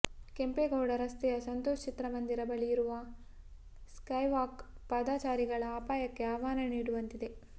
ಕೆಂಪೇಗೌಡ ರಸ್ತೆಯ ಸಂತೋಷ್ ಚಿತ್ರಮಂದಿರ ಬಳಿ ಇರುವ ಸ್ಕೈವಾಕ್ ಪಾದಚಾರಿಗಳ ಅಪಾಯಕ್ಕೆ ಆಹ್ವಾನ ನೀಡುವಂತಿದೆ